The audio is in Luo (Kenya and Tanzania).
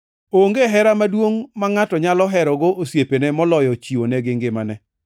Onge hera maduongʼ ma ngʼato nyalo herogo osiepene moloyo chiwonegi ngimane.